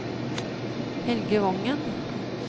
Helge Wangen